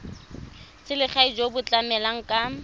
selegae jo bo tlamelang ka